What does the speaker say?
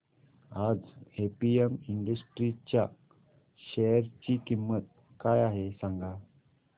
आज APM industries च्या share ची किंमत काय आहे सांगा